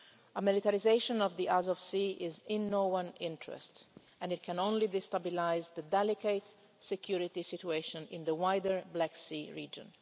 A militarisation of the Azov Sea is in no one's interest and it can only destabilise the delicate security situation in the wider Black Sea region.